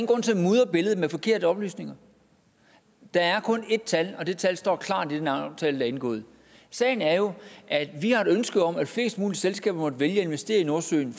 grund til at mudre billedet med forkerte oplysninger der er kun ét tal og det tal står klart i den aftale der er indgået sagen er jo at vi har et ønske om at flest mulige selskaber måtte vælge at investere i nordsøen